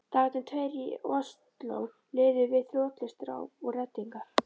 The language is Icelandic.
Dagarnir tveir í Osló liðu við þrotlaust ráp og reddingar.